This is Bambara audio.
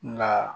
Nka